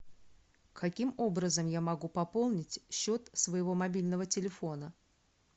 каким образом я могу пополнить счет своего мобильного телефона